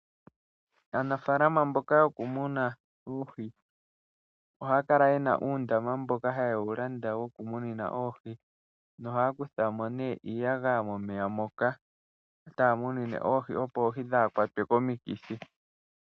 Aanafaalama mboka yokumuna oohi ohaya kala ye na uundama mboka haye wu landa wokumunina oohi, nohaya kutha mo iiyagaya momeya moka taya munine oohi, opo oohi dhaa kwatwe komikithi.